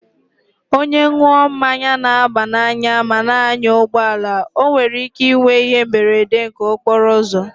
Onye ṅụọ mmanya na-aba n'anya ma na-anya ụgbọala, o nwere ike inwe ihe mberede nke okporo ụzọ.